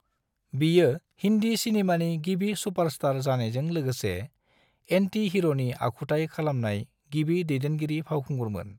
बियो हिंदी सिनेमानि गिबि सुपारस्टार जानायजों लोगोसे एंटि-हिर'नि आखुथाय खालामनाय गिबि दैदेनगिरि फावखुंगुरमोन।